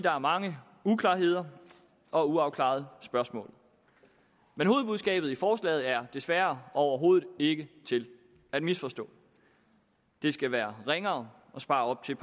er mange uklarheder og uafklarede spørgsmål men hovedbudskabet i forslaget er desværre overhovedet ikke til at misforstå det skal være ringere at spare op til